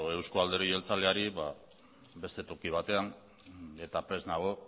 euzko alderdi jeltzaleari beste toki batean eta prest nago